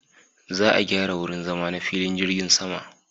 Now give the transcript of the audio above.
Za a gyara wurin zama na filin jirgin sama.